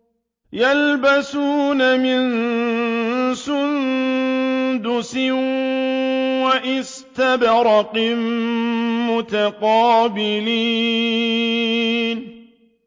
يَلْبَسُونَ مِن سُندُسٍ وَإِسْتَبْرَقٍ مُّتَقَابِلِينَ